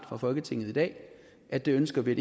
fra folketinget i dag at det ønsker vi at